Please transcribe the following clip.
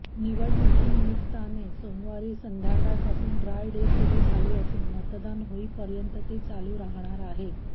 निवडणुकीनिमित्ताने सोमवारी संध्याकाळपासून dry day सुरु झाले असून मतदान होईपर्यंत ते चालू राहणार आहेत